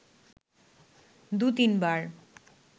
দু তিনবার